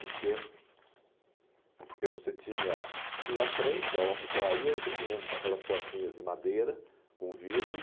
Porque porque você tinha tinha a frente, que era uma papelaria, e você tinha um aquelas portinhas de madeira com vidro.